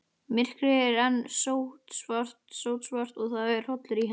Myrkrið var enn sótsvart og það var hrollur í henni.